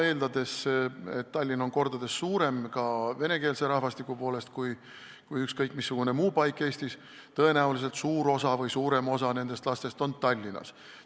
Eeldades, et Tallinn on kordades suurem – ka venekeelse rahvastiku poolest – kui ükskõik missugune muu paik Eestis, siis tõenäoliselt suur osa või suurem osa nendest lastest on Tallinnas.